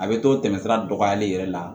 A bɛ t'o tɛmɛ sira dɔgɔyali yɛrɛ la